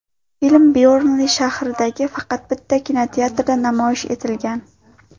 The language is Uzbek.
Film Byornli shahridagi faqat bitta kinoteatrda namoyish etilgan.